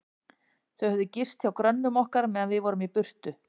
Þau höfðu gist hjá grönnum okkar, meðan við vorum í burtu.